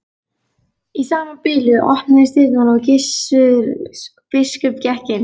Í sama bili opnuðust dyrnar og Gissur biskup gekk inn.